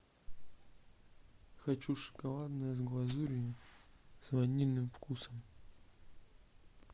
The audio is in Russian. хочу шоколадное с глазурью с ванильным вкусом